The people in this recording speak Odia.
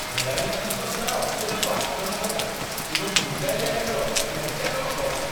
ଖେଳାଳିମାନଙ୍କ ଦ୍ୱାରା ଅତ୍ୟଧିକ ଆକ୍ରାମକତା ଏବଂ ଗୁଣ୍ଡାଳିଆ ଖେଳ ଲଜ୍ଜାଜନକ ଅଟେ।